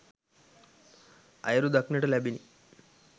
ඇයුරු දක්නට ලැබිණි